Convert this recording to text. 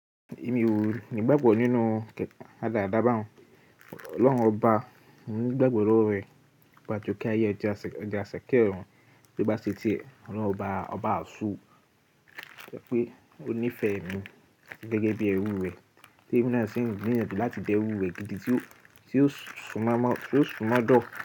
Èmi o ni gbàgbọ́ nínú kẹ̀tẹ̀, radàrádá ba un. Ọlọ́hun ọba ń gbàgbọ́ lọ́wọ́ rẹ̀ oba ajoke ayé ẹ́ ja asa ke ọrùn tó bá ṣe ti è, Ọlọ́run ọba, ọba asọ pé ó ní fẹ̀mi gẹ́gẹ́ bí ẹrú rẹ̀, tí eminásìn gbinyanju láti dẹ́ erú re gidi tí ó ti sumọ́mọ́dọ̀